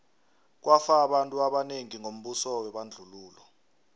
kwafa abantu abanengi ngombuso webandlululo